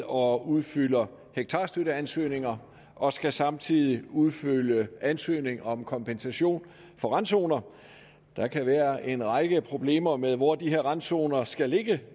og udfylder hektarstøtteansøgninger og skal samtidig udfylde ansøgning om kompensation for randzoner der kan være en række problemer med hvor de her randzoner skal ligge